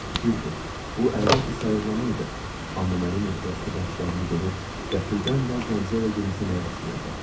Düzdür, bu əlbəttə sayıqlama idi, amma mənim ehtiraslı baxışlarımı görüb qəfildən naz-qəmzə ilə gülümsəməyə başlayırdı.